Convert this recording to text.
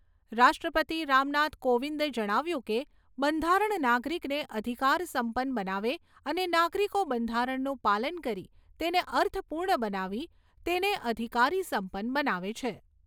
રાષ્ટ્રપતિ રામનાથ કોવિંદે જણાવ્યું કે, બંધારણ નાગરિકને અધિકાર સંપન્ન બનાવે અને નાગરિકો બંધારણનું પાલન કરી તેને અર્થપૂર્ણ બનાવી તેને અધિકારી સંપન્ન બનાવે છે.